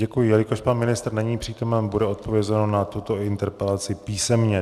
Děkuji, jelikož pan ministr není přítomen, bude odpovězeno na tuto interpelaci písemně.